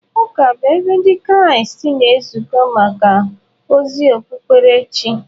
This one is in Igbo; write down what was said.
Ụka bụ ebe Ndị Kraịst na-ezukọ maka ozi okpukperechi.